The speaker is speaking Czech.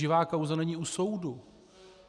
Živá kauza není u soudu.